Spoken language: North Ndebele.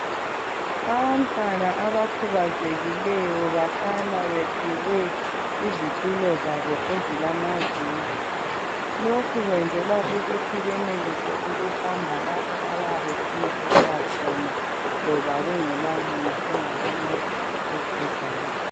Abantwana abakhubazekileyo bahlala bephiwe izitulo zabo ezilamavili lokhu kwenzela ukuthi benelise ukuhamba lapha abeyabefuna ukuya khona loba kungelamuntu ongabancedisa eduzane.